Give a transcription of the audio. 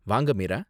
வாங்க, மீரா.